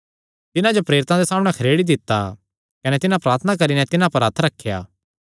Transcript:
तिन्हां जो प्रेरितां दे सामणै खरेड़ी दित्ता कने तिन्हां प्रार्थना करी नैं तिन्हां पर हत्थ रखेया